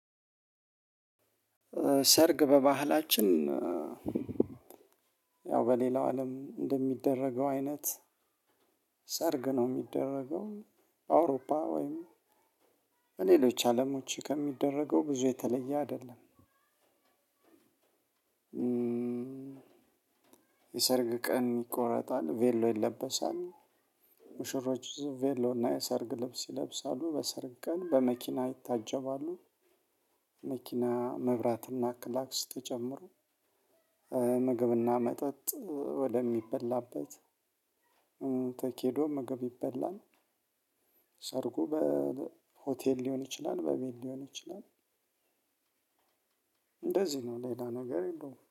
ሰርግ በባህላችን ያው በሌላው አለም እንደሚደረገው አይነት ሰርግ ነው የሚደረገው አውሮፓ ወይም በሌሎች አለሞች ከሚደረገው ብዙ የተለየ አይደለም። የሰርግ ቀን ይቆረጣል ቬሎ ይለበሳል። ሙሽሮች ቬሎ እና የሰርግ ልብስ ይለብሳሉ በሰርግ ቀን በመኪና ይታጀባሉ። መኪና መብራትና ክላክስ ተጨምሮ ምግብና መጠጥ ወደሚበላበት። ተሂዶ ምግብ ይበላል። ሰርጉ በሆቴል ሊሆን ይችላል በቤት ሊሆን ይችላል። እንደዚህ ነው ሌላ ነገር የለውም